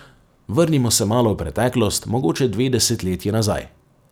Vrnimo se malo v preteklost, mogoče dve desetletji nazaj.